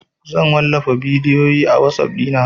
Zan wallafa bidiyo a WhatsApp ɗina anjima